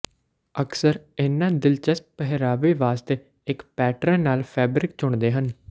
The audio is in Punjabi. ਅਕਸਰ ਇਨ੍ਹਾਂ ਦਿਲਚਸਪ ਪਹਿਰਾਵੇ ਵਾਸਤੇ ਇੱਕ ਪੈਟਰਨ ਨਾਲ ਫੈਬਰਿਕ ਚੁਣਦੇ ਹਨ